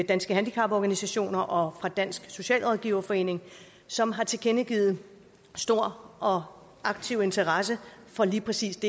danske handicaporganisationer og dansk socialrådgiverforening som har tilkendegivet stor og aktiv interesse for lige præcis